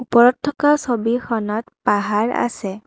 ওপৰত থকা ছবিখনত পাহাৰ আছে।